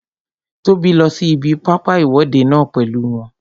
Tóbi lọ sí ibi pápá ìwọ́de náà pèlú wọn